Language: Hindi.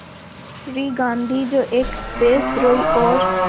श्री गांधी जो एक देशद्रोही और